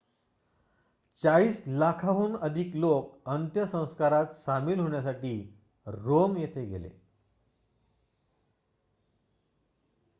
चाळीस लाखांहून अधिक लोक अंत्यसंस्कारात सामील होण्यासाठी रोम येथे गेले